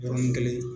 Yɔrɔnin kelen